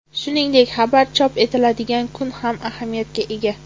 Shuningdek, xabar chop etiladigan kun ham ahamiyatga ega.